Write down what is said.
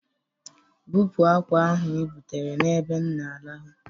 Bupu akwa ahụ ibutere n'ebe m na-arahụ!